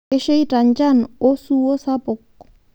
Keisheita njan oosuwuo sapuk